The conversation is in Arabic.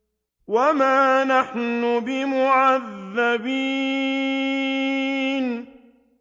وَمَا نَحْنُ بِمُعَذَّبِينَ